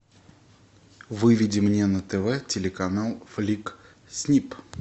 выведи мне на тв телеканал флик снип